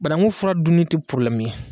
Banankun fura dunn tɛ probilɛmu ye.